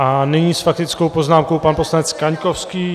A nyní s faktickou poznámkou pan poslanec Kaňkovský.